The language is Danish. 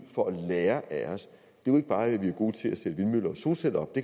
for at lære af os jo ikke bare er at vi er gode til at sætte vindmøller og solceller op det